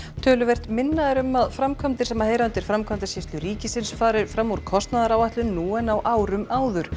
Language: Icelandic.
töluvert minna er um að framkvæmdir sem heyra undir Framkvæmdasýslu ríkisins fari fram úr kostnaðaráætlun nú en á árum áður